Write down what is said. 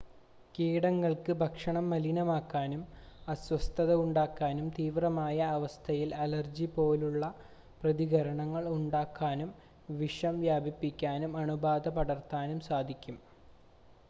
കീടങ്ങൾക്ക് ഭക്ഷണം മലിനമാക്കാനും അസ്വസ്ഥത ഉണ്ടാക്കാനും തീവ്രമായ അവസ്ഥയിൽ അലർജി പോലെയുള്ള പ്രതികരണങ്ങൾ ഉണ്ടാക്കാനും വിഷം വ്യാപിപ്പിക്കാനും അണുബാധ പടർത്താനും സാധിക്കും